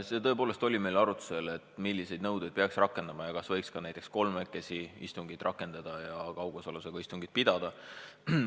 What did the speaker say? See tõepoolest oli meil arutlusel, milliseid nõudeid peaks rakendama ja kas võiks ka näiteks kolmekesi istungit rakendada ja kaugosalusega istungit pidada.